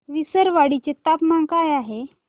विसरवाडी चे तापमान काय आहे